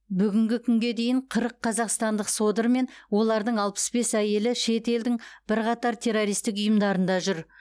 бүгінгі күнге дейін қырық қазақстандық содыр мен олардың алпыс бес әйелі шет елдің бірқатар террористік ұйымдарында жүр